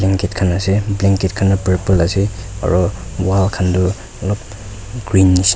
blanket kan ase blanket khan toh purple ase aro wall kan toh alop green nehsina --